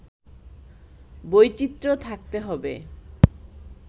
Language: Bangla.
বৈচিত্র্য থাকতে হবে